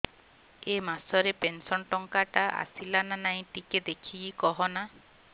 ଏ ମାସ ରେ ପେନସନ ଟଙ୍କା ଟା ଆସଲା ନା ନାଇଁ ଟିକେ ଦେଖିକି କହନା